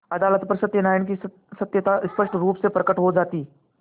अदालत पर सत्यनारायण की सत्यता स्पष्ट रुप से प्रकट हो जाती